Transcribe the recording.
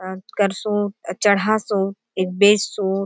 अ करसोत चढा़ सोत एक बेचसोत।